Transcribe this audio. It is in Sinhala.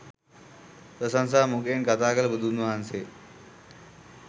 ප්‍රශංසා මුඛයෙන් කථා කළ බුදුන්වහන්සේ